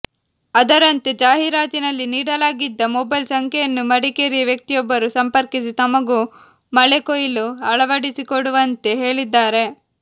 ಅದರಂತೆ ಜಾಹೀರಾತಿನಲ್ಲಿ ನೀಡಲಾಗಿದ್ದ ಮೊಬೈಲ್ ಸಂಖ್ಯೆಯನ್ನು ಮಡಿಕೇರಿಯ ವ್ಯಕ್ತಿಯೊಬ್ಬರು ಸಂಪರ್ಕಿಸಿ ತಮಗೂ ಮಳೆಕೊಯ್ಲು ಅಳವಡಿಸಿಕೊಡುವಂತೆ ಹೇಳಿದ್ದಾರೆ